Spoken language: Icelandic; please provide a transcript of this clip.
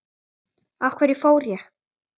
Af hverju fór ég?